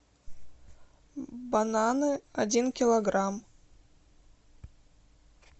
бананы один килограмм